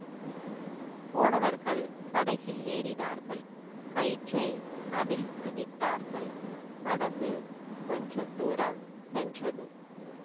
போனவர்கள் படகில் ஏறினார்கள் கயிற்றை அவிழ்த்து விட்டார்கள் படகு கொஞ்ச தூரம் சென்றது